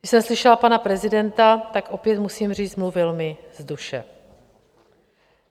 Když jsem slyšela pana prezidenta, tak opět musím říct, mluvil mi z duše.